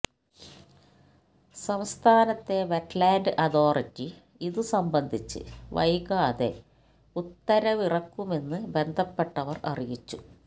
സംസ്ഥാനത്തെ wetland authority ഇതുസംബന്ധിച്ച് വൈകാതെ ഉത്തരവിറക്കുമെന്ന് ബന്ധപ്പെട്ടവര് അറിയിച്ചു